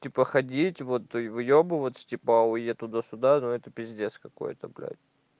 типа ходить вот и выёбываться типа ой я туда-сюда ну это пиздец какой-то блядь